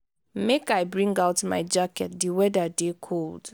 make i bring out my jacket di weather dey cold.